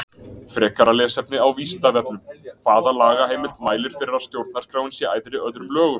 Frekara lesefni á Vísindavefnum: Hvaða lagaheimild mælir fyrir að stjórnarskráin sé æðri öðrum lögum?